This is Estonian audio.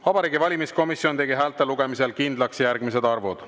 Vabariigi Valimiskomisjon tegi häälte lugemisel kindlaks järgmised arvud.